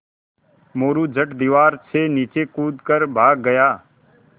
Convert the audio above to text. मोरू झट दीवार से नीचे कूद कर भाग गया